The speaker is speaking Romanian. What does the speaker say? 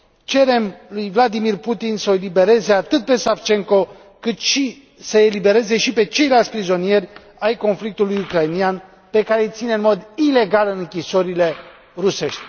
Cerem lui Vladimir Putin să o elibereze atât pe Savchenko, cât și pe ceilalți prizonieri ai conflictului ucrainean, pe care îi ține în mod ilegal în închisorile rusești.